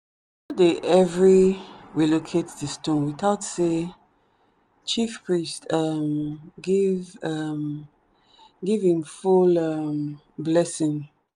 them no dey every relocate the stone without say chief priest um give um give hin full um blessing.